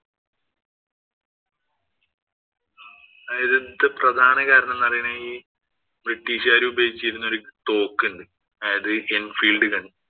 അവിടത്തെ പ്രധാന കാര്യം എന്ന് പറയുന്നത് ഈ ബ്രിട്ടീഷുകാര് ഉപയോഗിച്ചിരുന്ന ഒരു തോക്ക് ഉണ്ട്. അതായത് enfield gun